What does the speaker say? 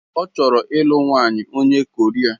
Ọ chọrọ ịlụ nwanyị onye Koria.